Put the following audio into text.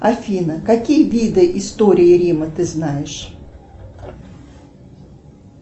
афина какие виды истории рима ты знаешь